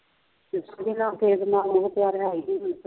ਕਿਸੇ ਦੇ ਨਾਲ ਮੋਹ ਪਿਆਰ ਹੈ ਹੀ ਨਹੀਂ